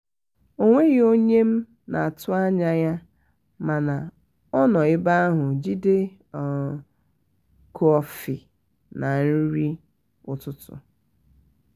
onwegi onye m na atụ anya ya mana ọ nọ ebe ahu jide um kọfị na nri um ụtụtụ.